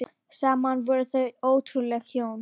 Saman voru þau ótrúleg hjón.